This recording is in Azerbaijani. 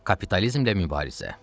Kapitalizmlə mübarizə.